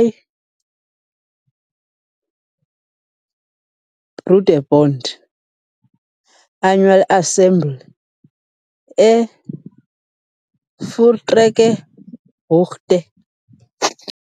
I-Broederbond annual assembly e-Voortrekkerhoogte .